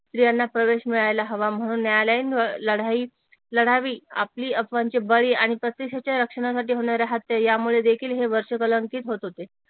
स्त्रियांना प्रवेश मिळायला हवा म्हणून न्यायालयीन लढाई लढावी आपली रक्षणासाठी होणारा हत्या यामुळे देखील हे वर्ष कलंकित होत होते